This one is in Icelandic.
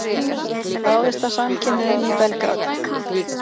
Ráðist að samkynhneigðum í Belgrad